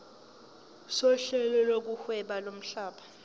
sohlelo lokuhweba lomhlaba